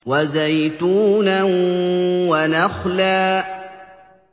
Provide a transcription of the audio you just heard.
وَزَيْتُونًا وَنَخْلًا